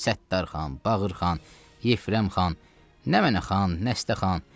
Səttarxan, Bağırxan, Yefərəm xan, nə mənnə xan, nəsdə xan.